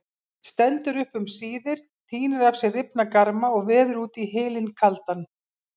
Stendur upp um síðir, tínir af sér rifna garma og veður út í hylinn kaldan.